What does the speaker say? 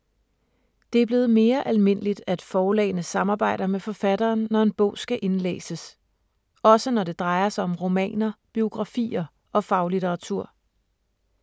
Det er blevet mere almindeligt, at forlagene samarbejder med forfatteren, når en bog skal indlæses. Også når det drejer sig om romaner, biografier og faglitteratur.